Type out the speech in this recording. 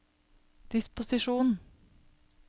disposisjon